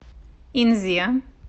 инзе